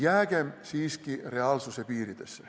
Jäägem siiski reaalsuse piiridesse.